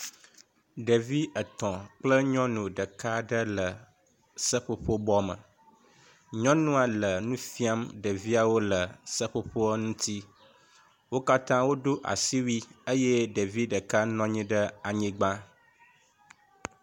Ɖevi etɔ kple nyɔnu ɖeka aɖe le seƒoƒo bɔme, nyɔnua le nu fiam ɖeviawo le seƒoƒo ŋuti. Wo katã wodo asiwui eye ɖevi ɖeka nɔ anyi ɖe anyigba.